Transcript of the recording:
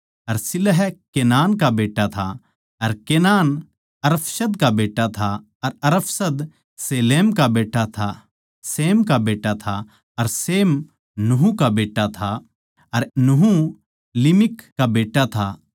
अर शिलह केनान का बेट्टा था अर केनान अरफक्षद का बेट्टा था अर अरफक्षद शेम का बेट्टा था अर शेम नूह का बेट्टा था अर नूह लिमिक का बेट्टा था